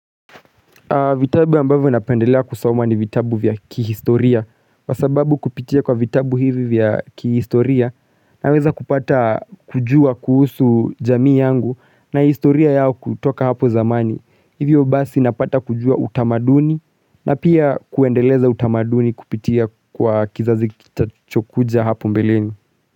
Vitabu ambavyo napendelea kusoma ni vitabu vya kihistoria. Kwa sababu kupitia kwa vitabu hivi vya kihistoria, naweza kupata kujua kuhusu jamii yangu na historia yao kutoka hapo zamani. Hivyo basi napata kujua utamaduni na pia kuendeleza utamaduni kupitia kwa kizazi kitachokuja hapo mbelini.